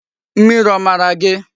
Mmiri o mara gi?